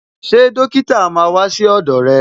Ṣé dókítà máa wà sí ọdọ rẹ̀